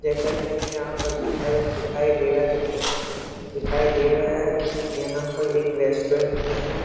जैसा की हमें यहाँ पर दिखाया दिखाई दे रहा जा ए दिखाई दे रहा है की यहाँ पर एक रेस्टोरेंट में हैं।